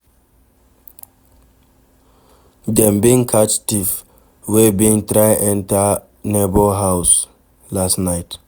Dem bin catch thief wey bin try enter neighbour house last night.